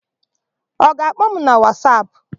Ọ ga-akpọ m na Wasapụ?